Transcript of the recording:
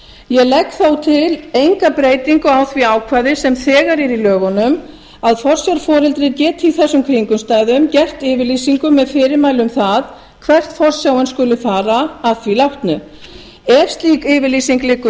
ég legg þó ekki til breytingu á því ákvæði sem þegar er í lögunum að forsjárforeldri geti í þessum kringumstæðum gert yfirlýsingu með fyrirmæli um það hvert forsjáin skuli fara að því látnu ef slík yfirlýsing liggur